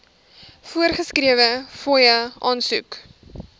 voorgeskrewe fooie aansoek